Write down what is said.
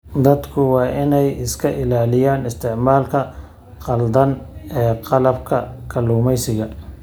Dadku waa inay iska ilaaliyaan isticmaalka khaldan ee qalabka kalluumaysiga.